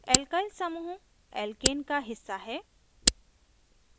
alkyl समूह alkane का हिस्सा हैं